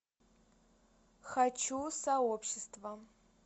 хочу сообщество